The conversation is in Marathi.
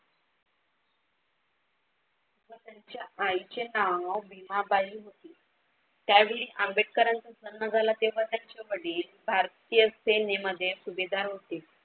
व त्यांच्या आईचे नाव भीमाबाई होती. त्यावेळी आंबेडकरांचे लग्न झाला तेव्हा त्यांचे वडील भारतीय सेनेमध्ये सुभेदार होते.